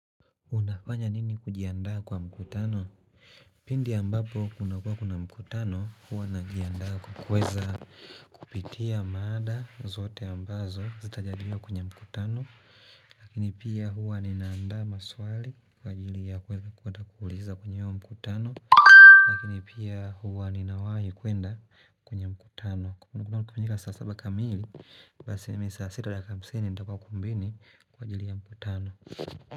Unafanya nini kujiandaa kwa mkutano? Pindi ambapo kunakuwa kuna mkutano huwa najiandaa kwa kuweza kupitia mada zote ambazo zitajadiliwa kwenye mkutano Lakini pia huwa ninaandaa maswali kwa ajili ya kuweza kwenda kuuliza kwenye huo mkutano Lakini pia huwa ninawahi kwenda kwenye mkutano kama mkutano kafanyika saa saba kamili, basi mimi saa sita na dakika hamsini nitakuwa ukumbini kwa ajili ya mkutano.